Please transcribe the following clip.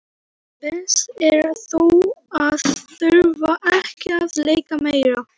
Best er þó að þurfa ekki að leika meira.